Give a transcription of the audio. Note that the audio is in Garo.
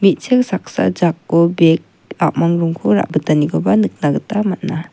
mechik saksa jako bag a·mang rongko ra·bitanikoba nikna gita man·a.